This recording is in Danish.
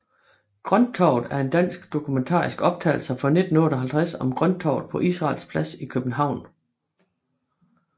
Grønttorvet er en dansk dokumentarisk optagelse fra 1958 om Grønttorvet på Israels Plads i København